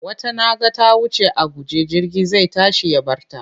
Wata na ga ta wuce a guje jirgi zai tashi ya bar ta.